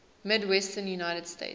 midwestern united states